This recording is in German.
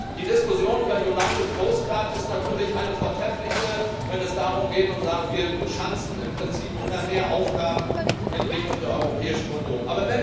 Die Diskussion um united coast guard ist natürlich eine vortreffliche, wenn es darum geht zu sagen Wir schanzen im Prinzip immer mehr Aufgaben in Richtung der Europäischen Union.